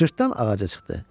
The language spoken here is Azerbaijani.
Cırtdan ağaca çıxdı.